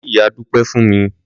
Lọ kí ìyá Dúpẹ́ fún mi!